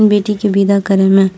बेटी के बिदा करे में --